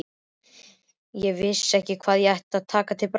Ég vissi ekki hvað ég ætti að taka til bragðs.